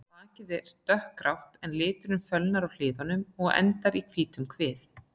Bakið er dökkgrátt en liturinn fölnar á hliðum og endar í hvítum kvið.